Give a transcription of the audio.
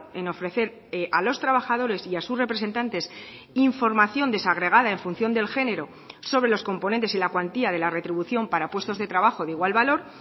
en ofrecer a los trabajadores y a sus representantes información desagregada en función del género sobre los componentes y la cuantía de la retribución para puestos de trabajo de igual valor